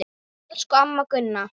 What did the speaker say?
Elsku amma Gunna.